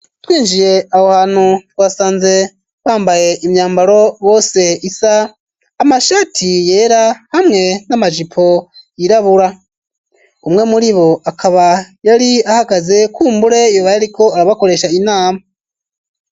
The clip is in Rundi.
Twinjiye aho hantu, twasanze bambaye imyambaro bose isa, amashati yera hamwe n'amajipo yirabura. Umwe muribo akaba yari ahagaze kumbure yoba yariko arabakoresha inama.